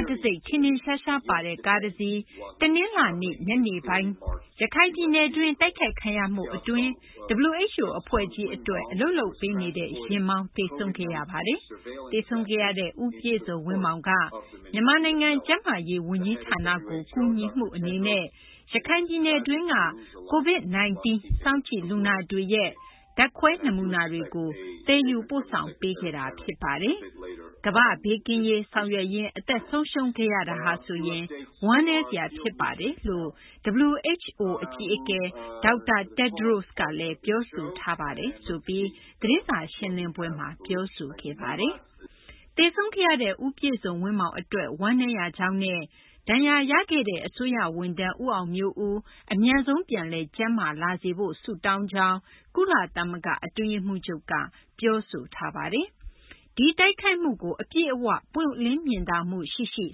်တံဆိပ် ထင်ထင်ရှားရှားပါတဲ့ ကားတစီး တနလာၤနေ့ ညနေပိုင်းက ရခိုင်ပြည်နယ်တွင်း တိုက်ခိုက်ခံရမှု အတွင်း WHO အဖွဲ့ကြီးအတွက် အလုပ်လုပ်ပေးနေတဲ့ ယာဉ်မောင်း သေဆုံးခဲ့ရပါတယ်။ သေဆုံးခဲ့ရတဲ့ ဦးပြည့်စုံဝင်းမောင်က မြန်မာနိုင်ငံ ကျန်းမာရေး ဝန်ကြီးဌာနကို ကူညီမှု အနေနဲ့ ရခိုင်ပြည်နယ်တွင်းက COVID-19 စောင့်ကြည့်လူနာတွေရဲ့ ဓာတ်ခွဲ နမူနာတွေကို သယ်ယူပို့ဆောင်ပေးခဲ့တာ ဖြစ်တယ်။ ကမ္ဘာ့ဘေးကင်းရေး ဆောင်ရွက်ရင်း အသက်ဆုံးရှုံးခဲ့ရတာဟာဆိုရင် ဝမ်းနည်းစရာ ဖြစ်ပါတယ်လို့ WHO အကြီးအကဲ ဒေါက်တာ Tedros ကလည်း ပြောဆိုထားပါတယ်” လို့ သတင်းစာရှင်းလင်ပွဲမှာ ပြောဆိုခဲ့တာ ဖြစ်ပါတယ်။ သေဆုံးခဲ့ရတဲ့ ဦးပြည့်စုံဝင်းမောင် အတွက် ဝမ်းနည်းရကြောင်းနဲ့ ဒဏ်ရာရခဲ့တဲ့ အစိုးရ ဝန်ထမ်း ဦးအောင်မျိုးဦး အမြန်ဆုံး ပြန်လည် ကျန်းမာလာဖို့ ဆုတောင်းပါကြောင်း ကုလသမဂ္ဂ အတွင်းရေးမှူးချုပ်က ပြောဆိုထားပါတယ်။ ဒီတိုက်ခိုက်မှုကို အပြည့်အ၀ ပွင့်လင်းမြင်သာမှု ရှိရှိ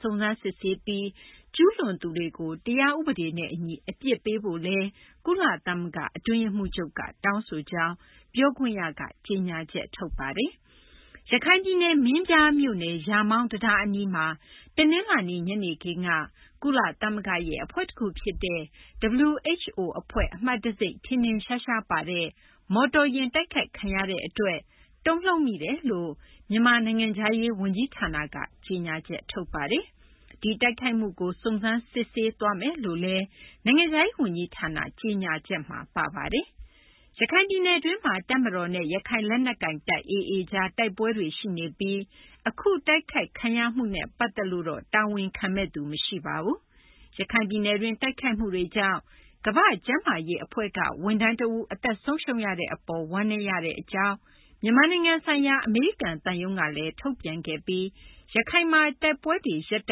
စုံစမ်းစစ်ဆေးပြီး ကျူးလွန်သူတွေကို တရားဥပဒေနဲ့ အညီ အပြစ်ပေးဖို့လည်း ကုလသမဂ္ဂ အတွင်းရေးမှူးချုပ်က တောင်းဆိုကြောင်း ပြောခွင့်ရက ကြေညာချက် ထုတ်ပါတယ်။ ရခိုင်ပြည်နယ် မင်းပြားမြို့နယ် ရာမောင်း တံတား အနီးမှာ တနင်္လာနေ့ ညနေခင်းက ကုလသမဂ္ဂရဲ့ အဖွဲ့တခု ဖြစ်တဲ့ WHO အဖွဲ့ အမှတ်တံဆိပ် ထင်ထင်ရှားရှားပါတဲ့ မော်တော်ယာဉ် တိုက်ခိုက်ခံရတဲ့ အတွက် တုန်လှုပ်မိတယ်လို့ မြန်မာ နိုင်ငံခြားရေး ဝန်ကြီးဌာနက ကြေညာချက်ထုတ်ပါတယ်။ ဒီတိုက်ခိုက်မှုကို စုံစမ်းစစ်ဆေးသွားမယ်လို့လည်း နိုင်ငံခြားရေး ဝန်ကြီးဌာန ကြေညာချက်မှာ ပါပါတယ်။ ရခိုင်ပြည်နယ်တွင်းမှာ တပ်မတော်နဲ့ ရခိုင်လက်နက်ကိုင်တပ် AA ကြား တိုက်ပွဲတွေ ရှိနေပြီး အခု တိုက်ခိုက်ခံရမှုကတော့ တာဝန်ခံသူ မရှိပါဘူး။ ရခိုင်ပြည်နယ်တွင်း တိုက်ခိုက်မှုတွေကြောင့် ကမ္ဘာ့ကျန်းမာရေး အဖွဲ့မှ ဝန်ထမ်း တဦး အသက် ဆုံးရှုံးရတဲ့ အပေါ် ဝမ်းနည်းရပါကြောင်း မြန်မာနိုင်ငံဆိုင်ရာ အမေရိကန် သံရုံးကလည်း ထုတ်ပြန်ခဲ့ပြီး ရခိုင်မှာ တိုက်ပွဲတွေ ရပ်တ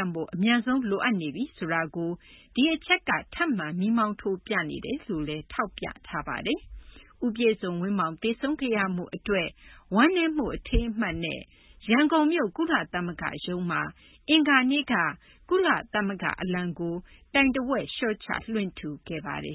န့်ဖို့ အမြန်ဆုံး လိုအပ်နေပြီ ဆိုတာကို ဒီအချက်က မီးမောင်းထိုးပြနေတာ ဖြစ်တယ်လို့လည်း ထောက်ပြထားပါတယ်။ ဦးပြည့်စုံဝင်းမောင် သေဆုံးခဲ့ရမှု အတွက် ဝမ်းနည်းမှု အထိမ်းအမှတ်အဖြစ်နဲ့ ရန်ကုန်မြို့ ကုလသမဂ္ဂရုံး မှာ အင်္ဂါနေ့က ကုလသမဂ္ဂ အလံကို တိုင်တဝက် လျှော့ချ လွှင့်ထူခဲ့ပါတယ်